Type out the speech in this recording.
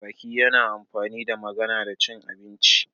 Baki yana amfani da magana da cin abinci